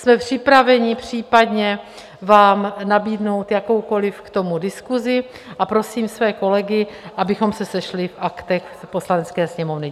Jsme připraveni případně vám nabídnout jakoukoliv k tomu diskusi a prosím své kolegy, abychom se sešli v Aktech u Poslanecké sněmovny.